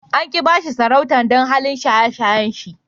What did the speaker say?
An ki ba shi sarautan dan halin shaye-shayen shi.